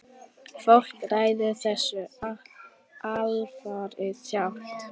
Fólk ræður þessu alfarið sjálft.